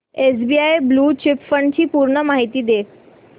SBI blue chip fund ची पूर्ण माहिती दे